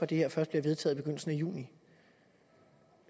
det her først bliver vedtaget i begyndelsen af juni